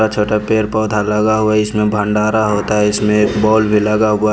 छोटा पेर पौधा लगा हुआ है इसमें भण्डारा होता है इसमें बॉल में लगा हुआ --